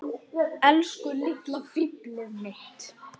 Hvernig gerðist það svona fljótt?